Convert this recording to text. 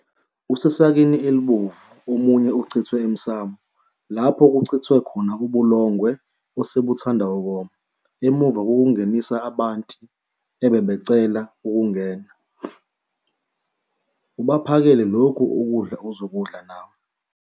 usesakeni obovu omunye uchithwe emsamu lapho kuchithwe khona ubulongwe osebuthanda ukoma emuva kokungenisa abanti ebebecela ukungena ubaphakele lokhu kidla ozokudla nawe